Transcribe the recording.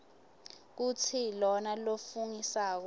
kutsi lona lofungisako